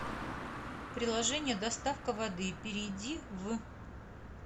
приложение доставка воды перейди в